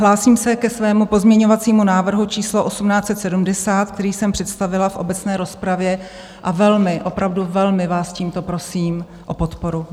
Hlásím se ke svému pozměňovacímu návrhu číslo 1870, který jsem představila v obecné rozpravě, a velmi, opravdu velmi vás tímto prosím o podporu.